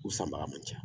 U sanbaga man ca